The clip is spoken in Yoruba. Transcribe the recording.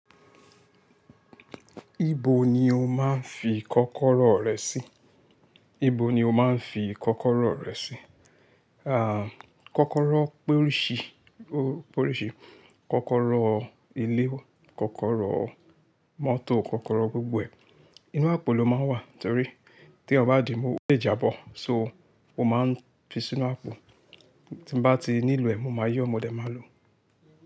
Ibo ni o máa ń fi kọ́kọ́rọ́ rẹ sí? Ibo ni o máa ń fi kọ́kọ́rọ́ rẹ sí? Ah, kọ́kọ́rọ́ porìṣì, o porìṣì, kọ́kọ́rọ́ ilé, kọ́kọ́rọ́ mọ́tò, kọ́kọ́rọ́ gbogbo ẹ̀. Inú àpò ló máa ń wà torí teyan bá dìímú ó lè jábọ̀, so mo máa ń fi sínú àpò. Ti n bá ti nílo ẹ̀, mo máa yo mọ dẹ máa lò.